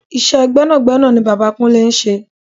Iṣẹ́ gbẹ́nàgbẹ́nà ni bàbá kúnlé ń ṣe.